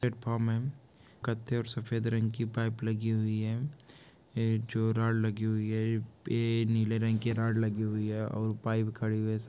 '' और मॅम जो कत्थे और सफ़ेद रंग की पाइप लगी हुई है ऐ जो रॉड लगी हुई हे ऐ नीले रंग की रौड लगी हुुई है और पाइप खड़ी हुई हैं सा --''